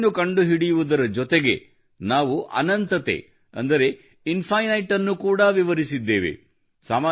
ಸೊನ್ನೆಯನ್ನು ಕಂಡುಹಿಡಿಯುವುದರ ಜೊತೆಗೆ ನಾವು ಅನಂತತೆ ಅಂದರೆ ಇನ್ಫಿನೈಟ್ ಅನ್ನೂ ಕೂಡ ವಿವರಿಸಿದ್ದೇವೆ